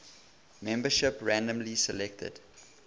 membership randomly selected